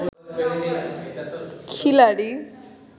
খিলাড়ি